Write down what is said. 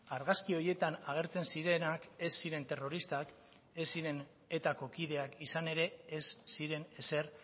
argazki horietan agertzen zirenak ez ziren terroristak ez ziren etako kideak izan ere ez ziren ezer